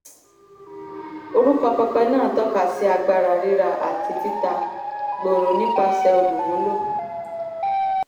orúkọ pẹpẹ náà tọ́ka sí agbára rírà àti títà gbòòrò nípasẹ̀ olúmúló.